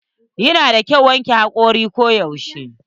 Yana da kyau wanke hakori ko yaushe.